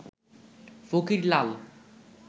ফকির লাল